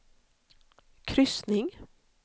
kryssning